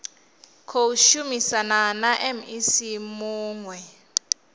khou shumisana na mec muwe